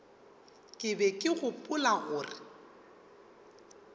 ke be ke gopola gore